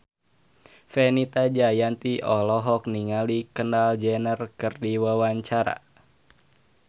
Fenita Jayanti olohok ningali Kendall Jenner keur diwawancara